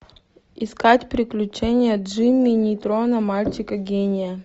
искать приключения джимми нейтрона мальчика гения